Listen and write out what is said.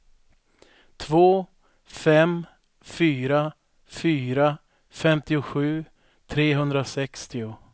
två fem fyra fyra femtiosju trehundrasextio